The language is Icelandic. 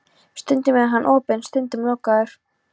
Stundum er hann opinn, stundum lokaður.